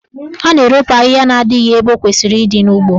A na-eropu ahịhịa na adịghị ebe o kwesịrị ịdị n'ugbo.